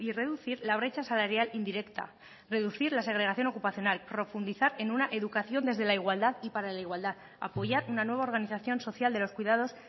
reducir la brecha salarial indirecta reducir la segregación ocupacional profundizar en una educación desde la igualdad y para la igualdad apoyar una nueva organización social de los cuidados